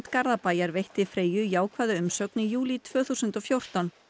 Garðabæjar veitti Freyju jákvæða umsögn í júlí tvö þúsund og fjórtán